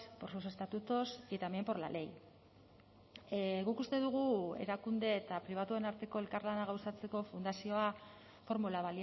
por los estatutos y también por la ley guk uste dugu erakunde eta pribatuen arteko elkarlana gauzatzeko fundazioa formula